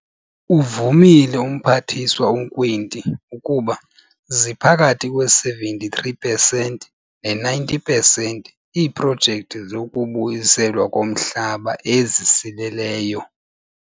Uvumile uMphathiswa uNkwinti, ukuba ziphakathi kwe-73 pesenti ne-90 pesenti iiprojekthi zokubuyiselwa komhlaba ezisileleyo.